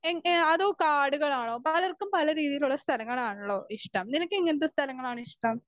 Speaker 1 എൻ എ അതോ കാടുകളാണോ? പലർക്കും പലരീതിയിലുള്ള സ്ഥലങ്ങളാണല്ലോ ഇഷ്ടം നിനക്ക് എങ്ങനത്തെ സ്ഥലങ്ങളാണ് ഇഷ്ടം?